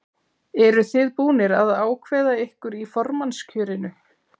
Eruð þið búnir að ákveða ykkur í formannskjörinu?